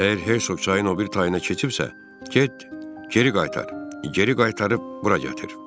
Əgər Hertsog çayın o biri tayına keçibsə, get geri qaytar, geri qaytarıb bura gətir.